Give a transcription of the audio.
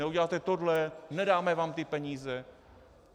Neuděláte tohle, nedáme vám ty peníze.